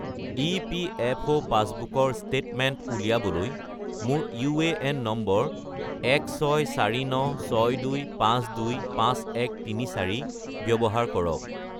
EPFO পাছবুকৰ statement উলিয়াবলৈ মোৰ ইউএএন নম্বৰ 164962525134 ব্যৱহাৰ কৰক